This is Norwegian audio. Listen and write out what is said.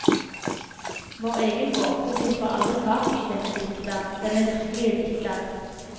Vår egen gåte slipper aldri taket i denne dikter, denne virkelige dikter.